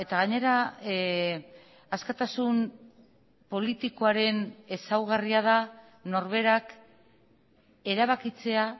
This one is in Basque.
gainera askatasun politikoaren ezaugarria da norberak erabakitzea